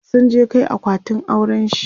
sun je Kai akwatin aurenshi